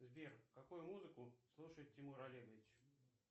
сбер какую музыку слушает тимур олегович